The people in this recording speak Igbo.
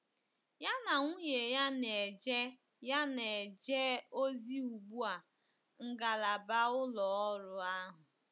Ya na nwunye ya na-eje ya na-eje ozi ugbu a ngalaba ụlọ ọrụ ahụ.